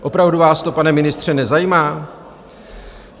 Opravdu vás to, pane ministře, nezajímá?